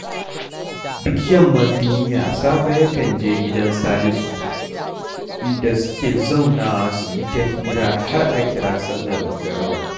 Duk yammar duniya Sabo yakan je gidan Salisu, inda suke zaunawa su yi ta hira har a kira sallar magariba